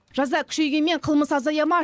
жаза күшейгенмен қылмыс азая ма